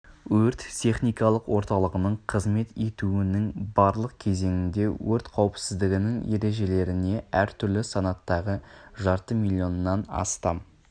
өрт техникалық орталығының қызмет етуінің барлық кезеңінде өрт қауіпсіздігінің ережелеріне әр түрлі санаттағы жарты миллионнан астам